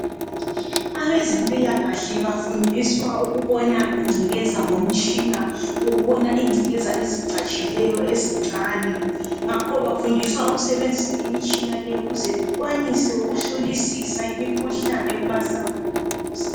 Abezempila kahle bafundiswa ukubona ingcekeza ngomtshina ukubona ingcekeza ezicatshileyo ezincane ngakho bafundiswa ukusebenzisa imitshina leyo ukuze bekwanise ukuhlolisisa imikhihlane kuma sample omzimba